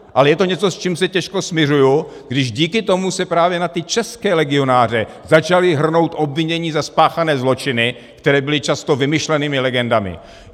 Ale je to něco, s čím se těžko smiřuji, kdy díky tomu se právě na ty české legionáře začala hrnout obvinění za spáchané zločiny, které byly často vymyšlenými legendami.